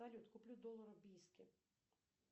салют куплю доллары в бийске